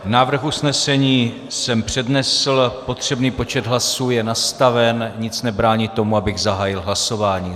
Návrh usnesení jsem přednesl, potřebný počet hlasů je nastaven, nic nebrání tomu, abych zahájil hlasování.